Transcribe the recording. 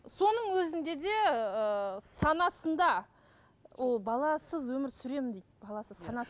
соның өзінде де ыыы санасында ол баласыз өмір сүремін дейді баласыз